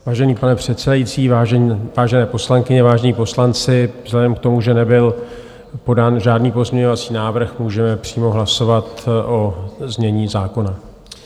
Vážený pane předsedající, vážené poslankyně, vážení poslanci, vzhledem k tomu, že nebyl podán žádný pozměňovací návrh, můžeme přímo hlasovat o znění zákona.